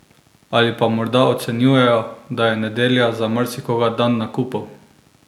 Ali pa morda ocenjujejo, da je nedelja za marsikoga dan nakupov?